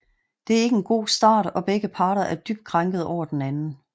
Det er ikke en god start og begge parter er dybt krænket over den anden